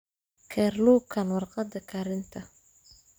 Kerlukan warqadda karinta.